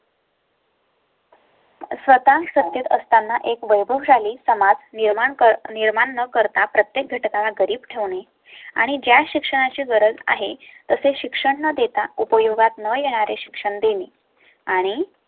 स्वतः सत्तेत असताना एक वैभव शाली समाज निर्माण निर्माण न करता प्रत्येक घटका ला गरीब ठेवणे आणि ज्या शिक्षणाची गरज आहे तसे शिक्षण न देता उपयोगात न येणारे शिक्षण देणे आणि